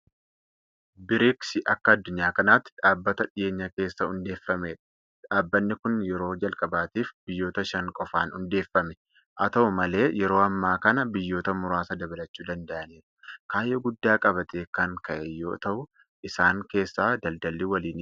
BRICS Akka addunyaa kanaatti dhaabbata dhiyeenya keessa hundeeffamedha. Dhaabbanni kun yeroo jalqabaatiif biyyoota shan qofaan hundeeffame. Haata'u malee yeroo ammaa kana biyyoota muraasa dabalachuu danda'aniiru. Kaayyoo guddaa qabatee kan ka'e yoota'u isaan keessaa daldalli waliinii isa tokkodha.